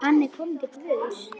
Hann er kominn til Guðs.